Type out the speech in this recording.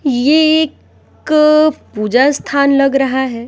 ये एक पूजा स्थान लग रहा है।